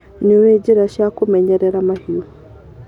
Nĩũĩ njĩra cia kũmenyerera mahiũ.